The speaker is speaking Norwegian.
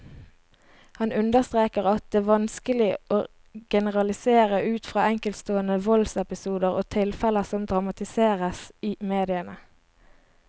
Han understreker at det vanskelig å generalisere ut fra enkeltstående voldsepisoder og tilfeller som dramatiseres i mediene.